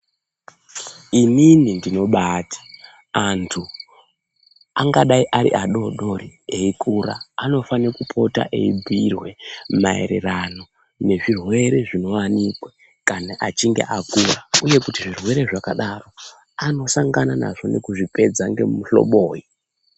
Inini ndinobaati anthu angadai ari adoodori eikura anofane kupota eibhiirwe maererano nezvirwere zvinowikwa kana achinge akura uye kuti zvirwere zvakadaro anosangana nazvo nekuzvipedza nemuhloboyi.